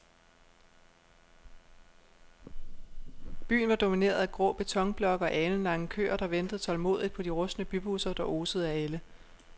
Byen var domineret af grå betonblokke og alenlange køer, der ventede tålmodigt på de rustne bybusser, der osede af ælde.